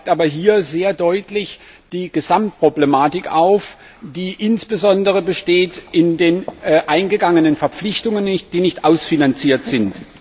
Es zeigt aber hier sehr deutlich die Gesamtproblematik auf, die insbesondere besteht in den eingegangenen Verpflichtungen, die nicht ausfinanziert sind.